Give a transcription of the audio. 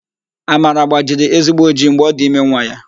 Amara gbajiri ezigbo ojii mgbe ọ dị ime nwa ya.